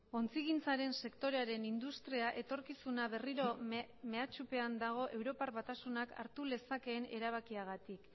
ontzigintzaren sektorearen industria etorkizuna berriro mehatxupean dago europar batasunak hartu lezakeen erabakiagatik